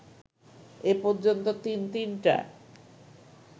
এই পর্যন্ত তিন তিনটা